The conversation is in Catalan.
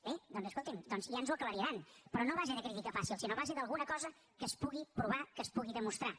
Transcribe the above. bé doncs escolti’m ja ens ho aclariran però no a base de crítica fàcil sinó a base d’alguna cosa que es pugui provar que es pugui demostrar